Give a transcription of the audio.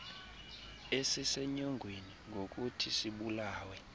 esisenyongweni ngokuthi sibulawe